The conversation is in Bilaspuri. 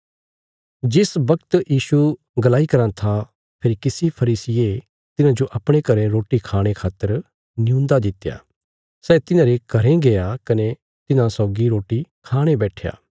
जिस बगत यीशु गलाई कराँ था फेरी किसी फरीसिये तिन्हांजो अपणे घरें रोटी खाणे खातर नियून्दा दित्या सै तिन्हांरे घरें गया कने तिन्हां सौगी रोटी खाणे बैट्ठया